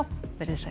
veriði sæl